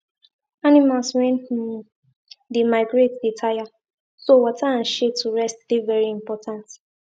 animals wen um dey migrate dey tire so water and shade to rest dey very important